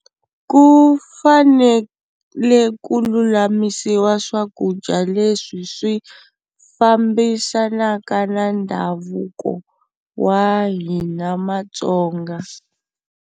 Ku fanele ku lulamisiwa swakudya leswi swi fambisanaka na ndhavuko wa hina maTsonga.